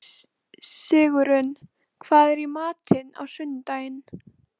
Sigurunn, hvað er í matinn á sunnudaginn?